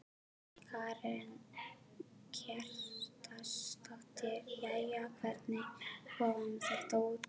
Karen Kjartansdóttir: Jæja, hvernig kom þetta út?